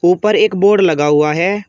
ऊपर एक बोर्ड लगा हुआ है।